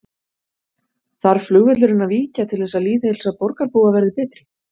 Þarf flugvöllurinn að víkja til þess að lýðheilsa borgarbúa verði betri?